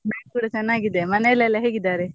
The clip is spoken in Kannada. ನಾನ್ ಕೂಡ ಚನ್ನಾಗಿದ್ದೇನೆ ಮನೇಲಿ ಎಲ್ಲ ಹೇಗಿದ್ದಾರೆ?